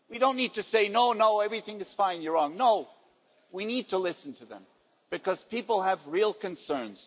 We don't need to say no, everything is fine, you're wrong. No, we need to listen to them because people have real concerns.